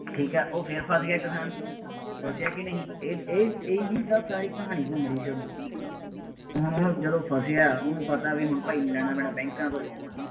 ਠੀਕ ਹੈ, ਉਹ ਫੇਰ ਫੱਸ ਗਿਆ ਕਿਸਾਨ, ਫਸਿਆ ਕਿਹਨੇ ਸੀ, ਇਹ ਇਹ ਇਹੀ ਤਾਂ ਸਾਰੀ ਕਹਾਣੀ ਘੁੰਮ ਰਹੀ ਸੀ ਉਦੋਂ, ਹੁਣ ਉਹ ਜਦੋਂ ਫਸਿਆ, ਉਹਨੂੰ ਪਤਾ ਬਈ ਹੁਣ ਭਾਈ ਲੈਣਾ ਪੈਣਾ ਬੈਕਾਂ ਤੋਂ loan